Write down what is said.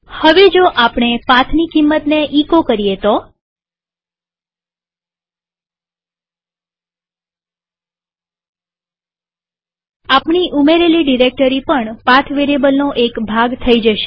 હવે જો આપણે પાથની કિંમતને એચો કરીએ તો આપણી ઉમેરેલી ડિરેક્ટરી પણ પાથ વેરીએબલનો એક ભાગ થઇ જશે